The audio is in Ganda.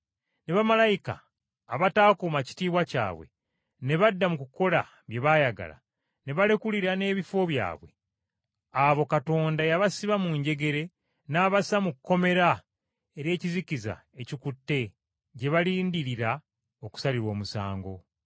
ne bamalayika abataakuuma kitiibwa kyabwe ne badda mu kukola bye baayagala ne balekulira n’ebifo byabwe, abo Katonda yabasiba mu njegere n’abassa mu kkomera ery’ekizikiza ekikutte gye balindiririra okusalirwa omusango.